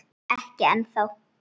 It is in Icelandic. Ekki ennþá.